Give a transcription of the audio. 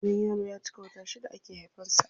Idan yaro ya cika wata shida ake haifan sa.